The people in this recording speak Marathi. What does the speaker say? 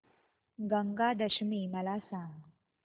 गंगा दशमी मला सांग